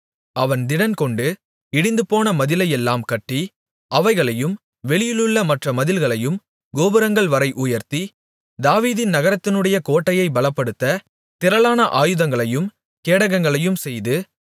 அவன் திடன்கொண்டு இடிந்துபோன மதிலையெல்லாம் கட்டி அவைகளையும் வெளியிலுள்ள மற்ற மதில்களையும் கோபுரங்கள் வரை உயர்த்தி தாவீதின் நகரத்தினுடைய கோட்டையைப் பலப்படுத்த திரளான ஆயுதங்களையும் கேடகங்களையும்செய்து